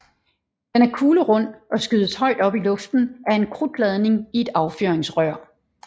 Den er kuglerund og skydes højt op i luften af en krudtladning i et affyringsrør